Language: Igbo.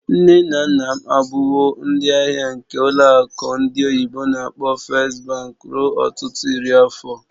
Nne na nna m abụwo ndị ahịa nke ụlọ akụ ndị oyibo n'akpọ "First Bank" ruo ọtụtụ iri afọ.